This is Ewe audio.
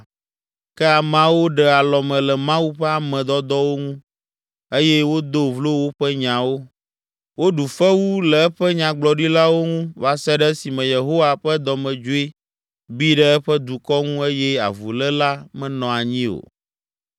Ke ameawo ɖe alɔme le Mawu ƒe ame dɔdɔwo ŋu eye wodo vlo woƒe nyawo. Woɖu fewu le eƒe nyagblɔɖilawo ŋu va se ɖe esime Yehowa ƒe dɔmedzoe bi ɖe eƒe dukɔ ŋu eye avuléla menɔ anyi o.